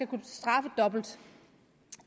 kunne straffe dobbelt